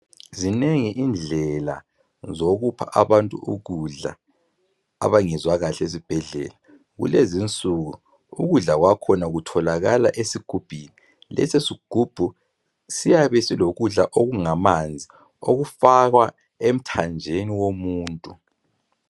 Zinengi indlela zokupha abantu ukudla abangezwa kahle ezibhedlela. Kulezinsuku ukudla kwakhona kutholakala esigubhini. Lesi sigubhu siyabe silokudla okungamanzi okutholakala imithanjeni yomuntu.